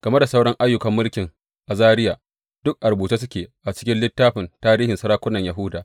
Game da sauran ayyukan mulkin Azariya, duk a rubuce suke a cikin littafin tarihin sarakunan Yahuda.